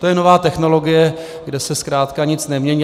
To je nová technologie, kde se zkrátka nic nemění.